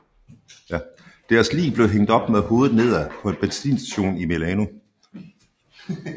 Deres lig blev hængt op med hovedet nedad på en benzinstation i Milano